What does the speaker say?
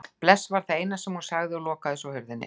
Bless var það eina sem hún sagði og lokaði svo hurðinni.